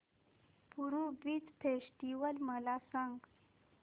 पुरी beach festival मला सांग